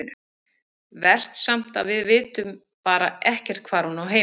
Verst samt að við vitum bara ekkert hvar hún á heima.